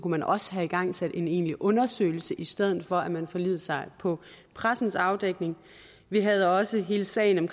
man også have igangsat en egentlig undersøgelse i stedet for at man forlod sig på pressens afdækning vi havde også hele sagen om